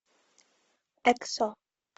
эксо